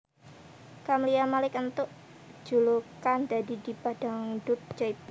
Camlia Malik entuk julukan dadi Diva Dangdut Jaipong